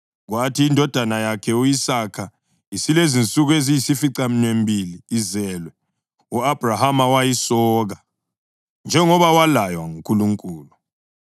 Kwathi indodana yakhe u-Isaka isilensuku eziyisificaminwembili izelwe, u-Abhrahama wayisoka, njengoba walaywa nguNkulunkulu.